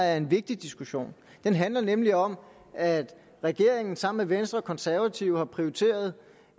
er en vigtig diskussion den handler nemlig om at regeringen sammen med venstre og konservative har prioriteret